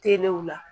Telew la